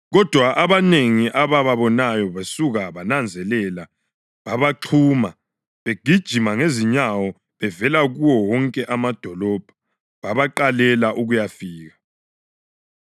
Kodwa abanengi abababonayo besuka babananzelela babaxhuma begijima ngezinyawo bevela kuwo wonke amadolobho babaqalela ukuyafika.